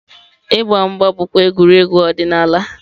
Ịgba mgba bụkwa egwuregwu ọdịnala.